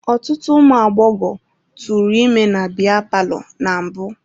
Ọtụtụ ụmụ agbọghọ tụrụ ime na biya palọ na mbụ.